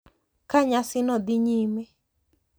Ka nyasino dhi nyime,